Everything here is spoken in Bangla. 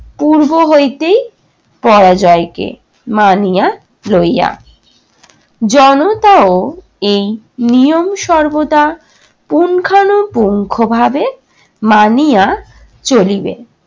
পূর্ব হইতেই পরাজয়কে মানিয়া লইয়া জনতা ও এই নিয়ম সর্বদা পুঙ্খানুপুঙ্খভাবে মানিয়া চলিবে।